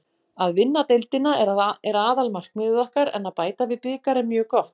Að vinna deildina er aðalmarkmið okkar en að bæta við bikar er mjög gott.